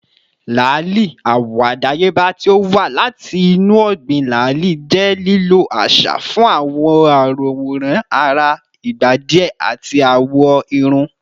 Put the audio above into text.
lali, awọ adayeba ti o wa lati inu ọgbin lali, jẹ lilo aṣa fun aworan ara igba diẹ ati awọ irun